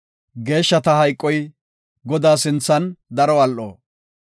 Geeshshata hayqoy Godaa sinthan, daro al7o.